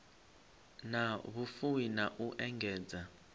na vhufuwi na u engedza